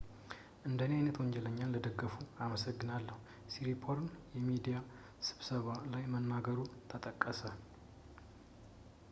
"እንደኔ ዓይነት ወንጀለኛን ለደገፉ አመሰግናለሁ፣ ሲሪፖርን የሚዲያ ስብሰባ ላይ መናገሩ ተጠቀሰ።